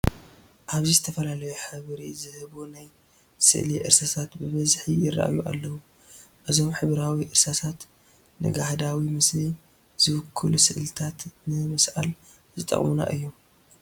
ኣብዚ ዝተፈላለዩ ሕብሪ ዝህቡ ናይ ስእሊ እርሳሳት ብብዝሒ ይርአዩ ኣለዉ፡፡ እዞም ሕብራዊ እርሳሳት ንጋህዳዊ ምስሊ ዝውክሉ ስእልታት ንምስኣል ዝጠቕሙና እዮም፡፡